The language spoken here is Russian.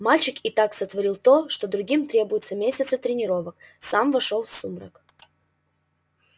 мальчик и так сотворил то что другим требуются месяцы тренировок сам вошёл в сумрак